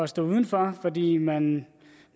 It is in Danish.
stå uden for fordi man